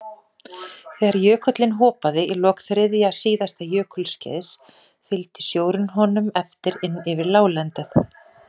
Þegar jökullinn hopaði í lok þriðja síðasta jökulskeiðs fylgdi sjórinn honum eftir inn yfir láglendið.